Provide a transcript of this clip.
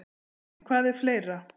En hvað er fleira?